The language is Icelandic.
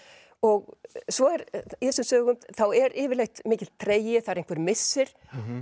og svo er í þessum sögum þá er yfirleitt mikill tregi það er einhver missir